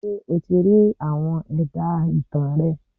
Ṣé o ti rí àwọn ẹ̀dá ìtàn rẹ.?